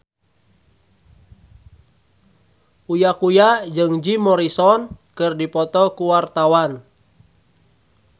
Uya Kuya jeung Jim Morrison keur dipoto ku wartawan